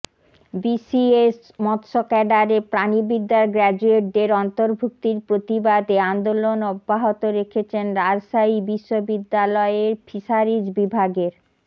BCS মৎস্য ক্যাডারে প্রাণিবিদ্যার গ্র্যাজুয়েটদের অন্তর্ভুক্তির প্রতিবাদে আন্দোলন অব্যাহত রেখেছেন রাজশাহী বিশ্ববিদ্যালয়ের ফিশারিজ বিভাগের